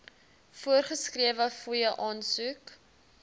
voorgeskrewe fooie aansoek